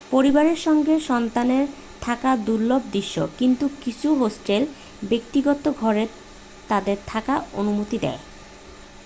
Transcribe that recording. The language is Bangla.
পরিবারের সঙ্গে সন্তানের থাকা দুর্লভ দৃশ্য কিন্তু কিছু হোস্টেল ব্যক্তিগত ঘরে তাদের থাকার অনুমতি দেয়